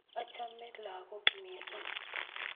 achome lakok mising